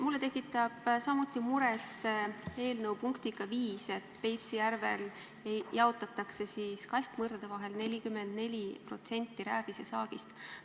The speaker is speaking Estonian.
Mulle tekitab samuti muret see eelnõu punkt 5, et Peipsi järvel jaotatakse kastmõrdade vahel 44% rääbisesaagist.